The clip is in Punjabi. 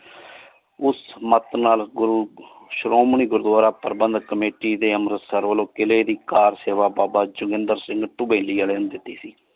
ਉਸ ਮਤ ਨਾਲ ਗੁਰੂ ਸਰੋਮ੍ਨੀ ਗੁਰਦਵਾਰਾ ਪਰ੍ਭੰਦ committee ਦੇ ਅੰਮ੍ਰਿਤਸਰ ਵਾਲੋ ਕੀਲੇ ਦੀ ਕਾਰਸੇਵਾ ਬਾਬਾ ਜੁਗਿੰਦਰ ਸਿੰਘ ਦੁਬੇਲਿ ਆਲੇ ਨੇ ਦਿੱਤੀ ਸੀ।